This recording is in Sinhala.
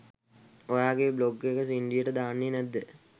ඔයාගේ බ්ලොග් එක සින්ඩියට දාන්නේ නැද්ද?